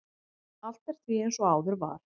Allt er því eins og áður var.